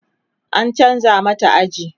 an chanza mata aji